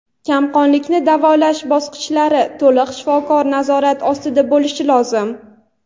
kamqonlikni davolash bosqichlari to‘liq shifokor nazorati ostida bo‘lishi lozim.